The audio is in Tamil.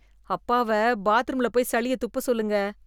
அப்பாவ பாத்ரூம்ல் போய் சளிய துப்ப சொல்லுங்க.